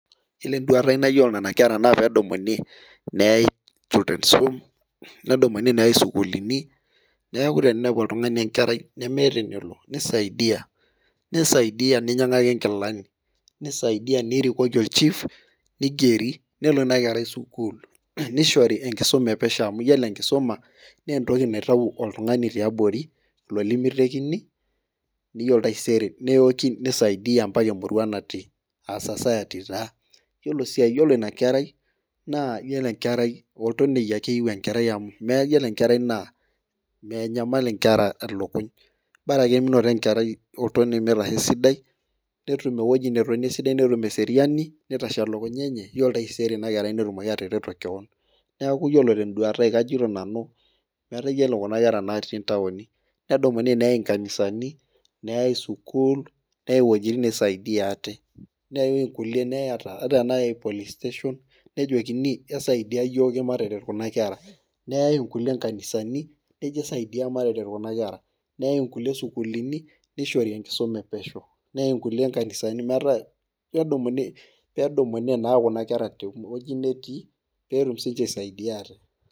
Yiolo enduata enina kera naa pee edumuni neyai childrens home nedumuni neyai sukuulini ,neeku teninepu oltungani enkerai nemeeta enelo nisaidia ninyangaki nkilani, nirikoki olchief neigeri nelo ina kerai sukuulin. nishori enkisuma epesho amu yiolo enkisuma anaa entoki naitayu oltungani tiabori lemitekini mpaka yiolo taisere nisaidia emurua natii .yiolo sii ine kerai naa oltonieki ake etii amu menyamal nkera lukuny ,borake menoto enkerai eeji netonie netum eseriani nitashe elukunya enye yioli taisere netumoki ina kerai atareto keon .neeku yiolo tenduata ai yyiolo kuna kera natii ntaoki nedumuni neyai nkanisani nayau sukul neetae wejitin neisaidia ate ata tenaa police station nejokini esaidia yiok mataret kuna kera ,nayau nkulie nkanisani nayai nejia esaidia mataret kuna kera ,nayae nkulie sukuulini nishori enkisuma epesho .nedumuni naa Kuna kera teweji netii pee etum siininche aisaidia ate.